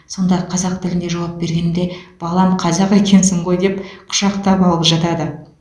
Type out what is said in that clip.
сонда қазақ тілінде жауап бергенімде балам қазақ екенсің ғой деп құшақтап алып жатады